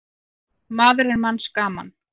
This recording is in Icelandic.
Maður er manns gaman.